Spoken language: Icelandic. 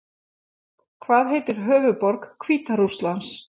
Hvað heitir höfuðborg Hvíta Rússlands?